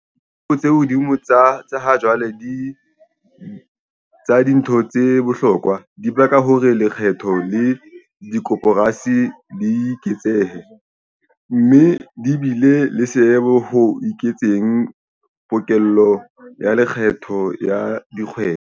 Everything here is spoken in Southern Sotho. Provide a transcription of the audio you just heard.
Ditjeo tse hodimo tsa ha jwale tsa dintho tse bohlokwa, dibaka hore lekgetho la dikoporasi le eketsehe, mme di bile le seabo ho eketseng pokello ya lekgetho ya dikgwebo.